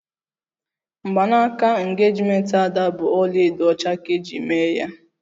Mgbanaka engejimenti Ada bụ ọlaedo ọcha ka eji mee ya